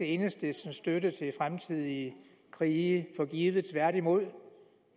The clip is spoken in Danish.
enhedslistens støtte til fremtidige krige for givet tværtimod